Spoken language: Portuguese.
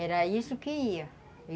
Era isso que ia.